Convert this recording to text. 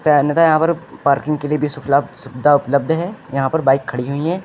तै अन्यथा यहां पर पार्किंग के लिए भी सुफीला सुविधा उपलब्ध है। यहां पर बाइक खड़ी हुई हैं।